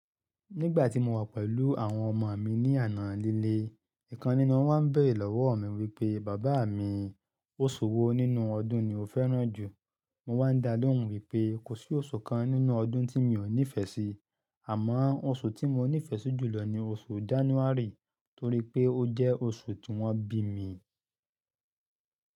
Nígbà tí mo wà pẹ̀lú àwọn ọmọ mi ní àná lílé, ìkan nínú wọn wà bẹ̀rẹ̀ lọ́wọ́ mi wípé Bàbá mi, oṣù wo nínú ọdún ni o fẹ́ràn jù? Mo wá ń dá lóhùn wípé kò sí oṣù kan nínú ọdún tí mi ò nífẹ̀ẹ́ sí. Àmọ́, oṣù tí mọ nífẹ̀ẹ́ si jùlọ ni oṣù January torí pé ó jẹ́ oṣù tí wọ́n bí mi.